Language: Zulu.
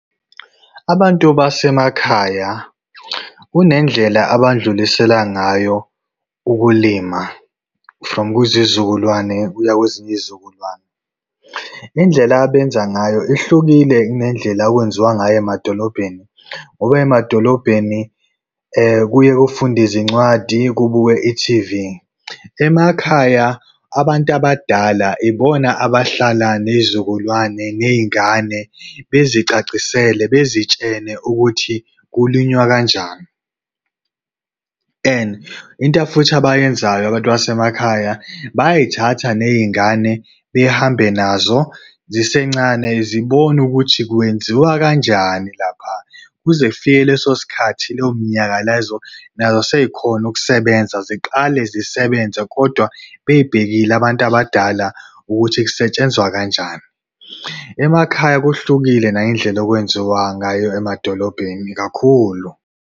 Abantu basemakhaya, kunendlela abadlulisela ngayo ukulima from kwizizukulwane kuya kwezinye izizukulwane. Indlela abenza ngayo ihlukile ukunendlela okwenziwa ngayo emadolobheni, ngoba emadolobheni kuye kufundwe izincwadi kubukwe i-T_V. Emakhaya, abantu abadala ibona abahlala ney'zukulwane, ney'ngane, bezicacisele bezitshele ukuthi kulinywa kanjani. And into futhi abayenzayo abantu basemakhaya, bayazithatha nezingane, behambe nazo zisencane, zibone ukuthi kwenziwa kanjani lapha. Kuze kufike leso sikhathi leyo minyaka nazo sezikhona ukusebenza, ziqale zisebenze, kodwa bey'bhekile abantu abadala ukuthi kusetshenzwa kanjani. Emakhaya kuhlukile nangendlela okwenziwa ngayo emadolobheni kakhulu.